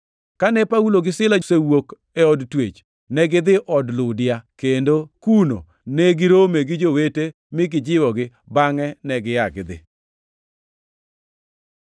Kane Paulo gi Sila osewuok e od twech, negidhi od Ludia, kendo kuno ne girome gi jowete mi gijiwogi. Bangʼe negia gidhi.